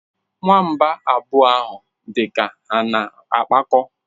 Nwamba abụọ ahụ dị ka ha na-akpakọ.